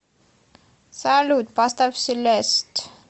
салют поставь селест